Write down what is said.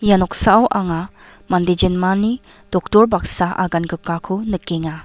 ia noksao anga mande jinmani doktor baksa agangrikako nikenga.